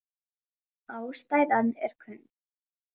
Ástæðan er kunn.